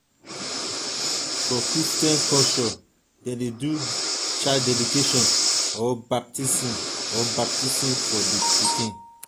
for christian culture dem de do child dedication or baptism or baptism for di pikin